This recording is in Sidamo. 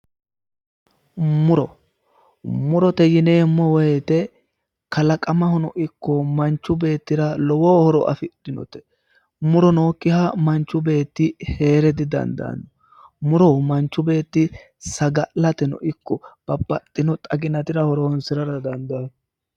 Muro, murote yineemmo woyte kalaqamahono ikko manchu beettira lowo horo afidhinote muro nookkiha manchu beetti hee're didandaanno, muro manchi beetti saga'lateno ikko babbaxxino xaginatira horonsi'rara dandaanno.